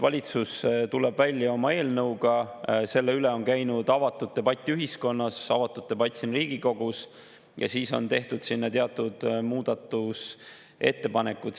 Valitsus tuli välja oma eelnõuga, selle üle on käinud avatud debatt ühiskonnas, avatud debatt siin Riigikogus ja siis on tehtud teatud muudatusettepanekud.